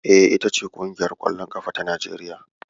E, Ita ce ƙungiyar ƙwallon ƙafar Najeriya.